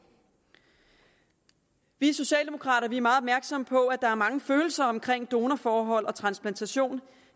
vi socialdemokrater er meget opmærksomme på at der er mange følelser omkring donorforhold og transplantation